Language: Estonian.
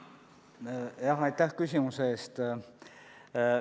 Aitäh küsimuse eest!